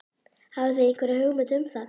Hafið þið einhverja hugmynd um það?